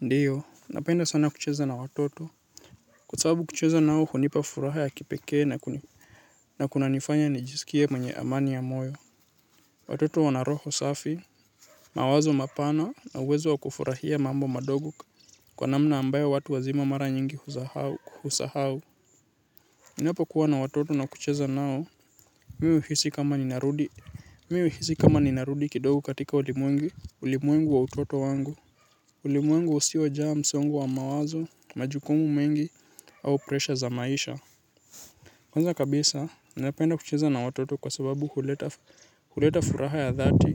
Ndiyo napenda sana kucheza na watoto kwa sababu kucheza nao hunipa furaha ya kipekee na kuna nifanya nijisikie mwenye amani ya moyo watoto wana roho safi mawazo mapana na uwezo wa kufurahia mambo madogo kwa namna ambayo watu wazima mara nyingi husahau husahau ninapo kuwa na watoto na kucheza nao miuhisi kama ninarudi miuhisi kama ninarudi kidogo katika ulimwengu ulimwengu wa utoto wangu. Uli mwengu usiojaa msongo wa mawazo, majukumu mengi, au presha za maisha. Kwanza kabisa, ninapenda kucheza na watoto kwa sababu huleta furaha ya dhati.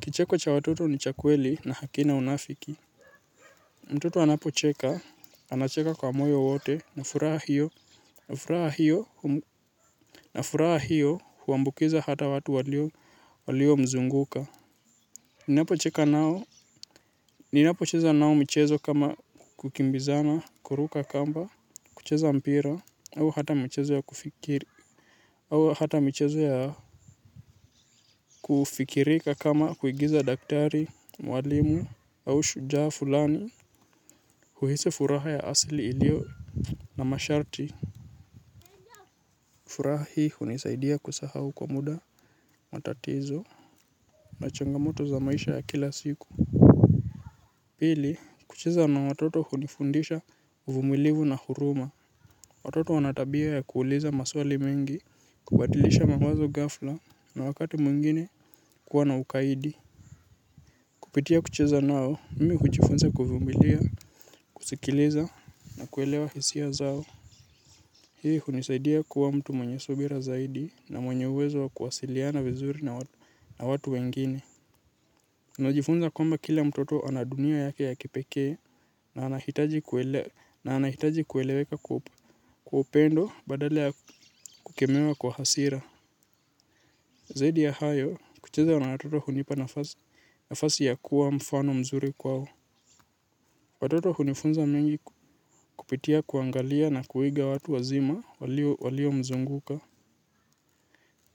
Kicheko cha watoto ni chakweli na hakina unafiki. Mtoto anapocheka, anacheka kwa moyo wote, na furaha hiyo. Na furaha hiyo huambukiza hata watu walio mzunguka. Ninapo cheka nao. Ninapo cheza nao michezo kama kukimbizana, kuruka kamba, kucheza mpira au hata michezo ya kufikiri au hata michezo yao kufikirika kama kuigiza daktari mwalimu au shujaa fulani huhisi furaha ya asili iliyona masharti. Furaha hii hunisaidia kusahau kwa muda matatizo. Na changamoto za maisha ya kila siku. Pili kucheza na watoto hunifundisha uvumilivu na huruma. Watoto wanatabia ya kuuliza maswali mengi kubatilisha mawazo ghafla na wakati mwingine kuwa na ukaidi. Kupitia kucheza nao mmi kuchifunza kuvumilia kusikiliza na kuelewa hisia zao. Hii hunisaidia kuwa mtu mwenye subira zaidi na mwenye uwezo wa kuwasiliana vizuri na watu wengine. Ninajifunza kwamba kila mtoto anadunia yake ya kipeke na anahitaji na anahitaji kueleweka kwa upendo badala ya kukemewa kwa hasira zaidi ya hayo kucheza na watoto hunipa nafasi ya kuwa mfano mzuri kwao. Watoto hunifunza mengi kupitia kuangalia na kuiga watu wazima walio mzunguka.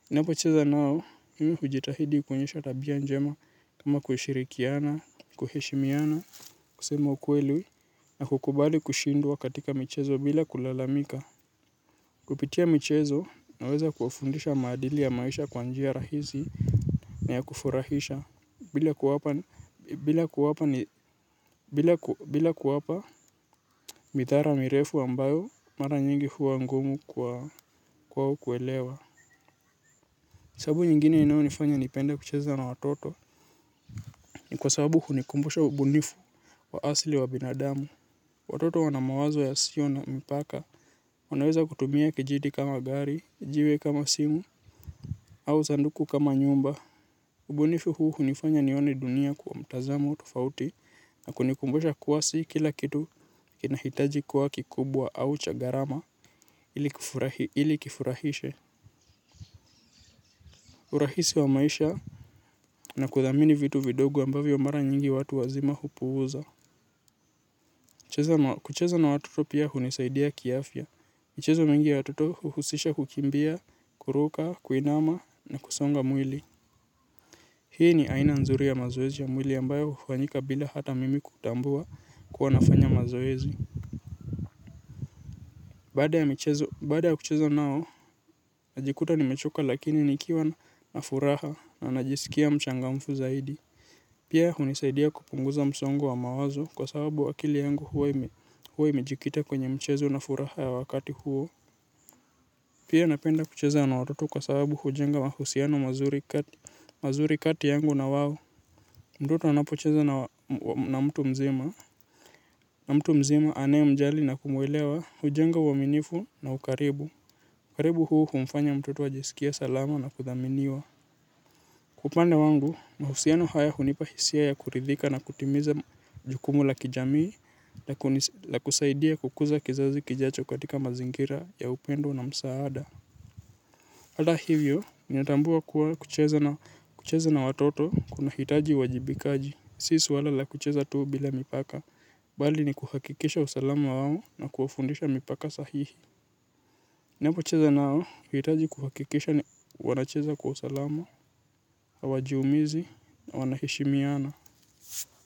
Napo cheza nao, mimi hujitahidi kuonyesha tabia njema kama kushirikiana, kuheshimiana, kusema ukweli na kukubali kushindwa katika michezo bila kulalamika. Kupitia michezo naweza kufundisha madili ya maisha kwanjia rahisi na ya kufurahisha bila kuwapa mithara mirefu ambayo mara nyingi huwa ngumu kwao kuelewa. Sabu nyingine ino nifanya nipenda kucheza na watoto ni kwa sababu hunikumbusha ubunifu wa asli wa binadamu. Watoto wanamawazo ya sio na mipaka. Wanaweza kutumia kijidi kama gari, jiwe kama simu, au sanduku kama nyumba. Ubunifu huu hunifanya nione dunia kwa mtazamo tofauti na kunikumbusha kuwa si kila kitu kinahitaji kuwa kikubwa au cha gharama ilikifurahishe. Urahisi wa maisha na kuthamini vitu vidogo ambavyo mara nyingi watu wazima hupuza. Kucheza na watoto pia hunisaidia kiafya. Michezo mingi ya watoto huhusisha kukimbia, kuruka, kuinama na kusonga mwili. Hii ni aina nzuri ya mazoezi ya mwili ambayo hufanyika bila hata mimi kutambua kuwanafanya mazoezi. Bada ya kucheza nao, najikuta nimechoka lakini nikiwa na furaha na najisikia mchangamfu zaidi. Pia hunisaidia kupunguza msongo wa mawazo kwa sababu akili yangu huwa imejikita kwenye mchezo na furaha ya wakati huo. Pia napenda kucheza na watoto kwa sababu hujenga mahusiano mazuri kati yangu na wao. Mtoto anapocheza na mtu mzima. Na mtu mzima ane mjali na kumwelewa hujenga uaminifu na ukaribu. Ukaribu huu humfanya mtoto ajisikie salama na kuthaminiwa. Upande wangu, mahusiano haya hunipahisia ya kuridhika na kutimiza jukumu la kijamii la kusaidia kukuza kizazi kijacho katika mazingira ya upendo na msaada. Hada hivyo, ninatambua kuwa kucheza na watoto kuna hitaji uwajibikaji. Si suala la kucheza tuu bila mipaka, bali ni kuhakikisha usalama wao na kuwafundisha mipaka sahihi. Napo cheza nao hitaji kuhakikisha ni wanacheza kwa salama, hawajiumizi, wanaheshimiana.